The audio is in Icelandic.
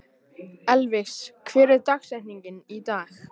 Elvis, hver er dagsetningin í dag?